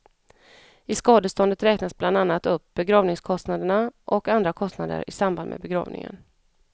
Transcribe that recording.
I skadeståndet räknas bland annat upp begravningskostnaderna och andra kostnader i samband med begravningen.